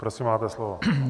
Prosím, máte slovo.